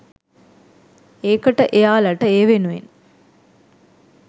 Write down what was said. ඒකට එයාලට ඒ වෙනුවෙන්